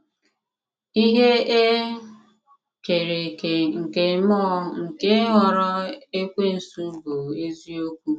Ihe e kere eke nke mmụọ nke ghọrọ Ekwensu bụbu eziokwu.